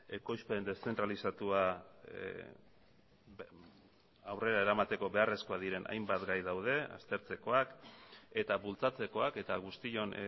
ekoizpen deszentralizatua aurrera eramateko beharrezkoak diren hainbat gai daude aztertzekoak eta bultzatzekoak eta guztion